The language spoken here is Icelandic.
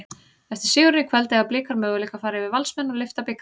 Eftir sigurinn í kvöld, eiga Blikar möguleika fara yfir Valsmenn og lyfta bikar?